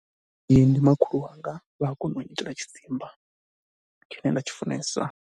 Ndi makhulu wanga, vha a kona u nyitela tshidzimba tshine nda tshi funesa.